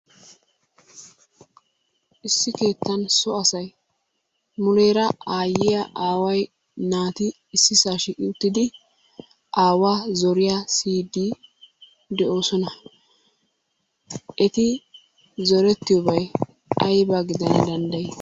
Issi keettan so asay muleera aayyiya, aaway, naati issisa shiiqi uttidi aawaa zoriyaa siyyii de'oosona. Eti zoretiyoobay aybba gidana dandday?